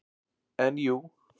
En jú.